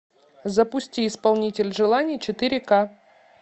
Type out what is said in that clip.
запусти исполнитель желаний четыре ка